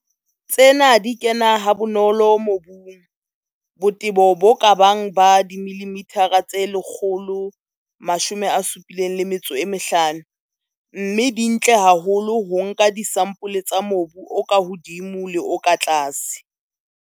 Tsena di kena ha bonolo mobung, botebo bo ka bang ba 175 mm, mme di ntle haholo ho nka disampole tsa mobu o ka hodimo le o ka tlase.